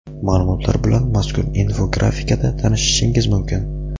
Ma’lumotlar bilan mazkur infografikada tanishishingiz mumkin.